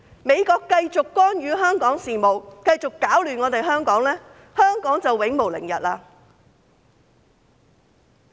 美國繼續干預香港事務，繼續攪亂香港，香港便永無寧日。